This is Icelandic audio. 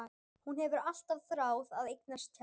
Hún hefur alltaf þráð að eignast tjald.